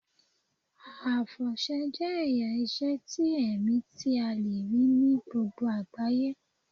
Àfọ̀ṣẹ jẹ́ ẹ̀yà ìṣe ti ẹ̀mí tí a le rí ní gbogbo àgbáyé.